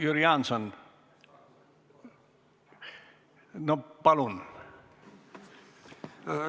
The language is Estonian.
Jüri Jaanson, palun!